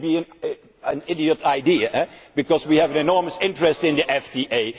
FDA. That would be an idiotic idea because we have an enormous interest in the